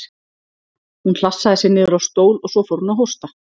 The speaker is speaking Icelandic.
Hún hlassaði sér niður á stól og svo fór hún að hósta.